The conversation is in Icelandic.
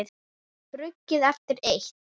Brugðið eftir eitt.